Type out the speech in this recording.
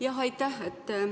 Jah, aitäh!